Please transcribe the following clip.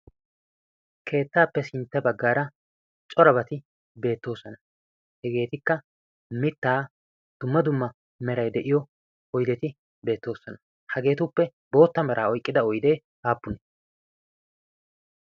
keettaappe sintte baggaara corobati beettoosana hegeetikka mittaa dumma dumma merai de7iyo oideti beettoosana hageetuppe bootta meraa oiqqida oidee aappunee?